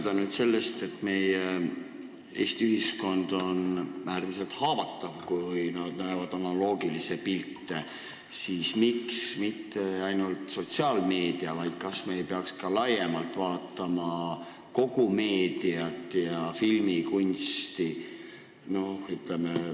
Kui nüüd sellest lähtuda, et Eesti ühiskond on äärmiselt haavatav, kui nad analoogilisi pilte näevad, siis kas me ei peaks laiemalt vaatama kogu meediat ja filmikunsti, mitte ainult sotsiaalmeediat?